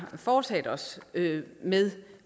foretaget os med